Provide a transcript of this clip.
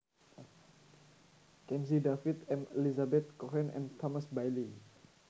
Kennedy David M Lizabeth Cohen and Thomas Bailey